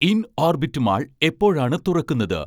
Inorbit mall എപ്പോഴാണ് തുറക്കുന്നത്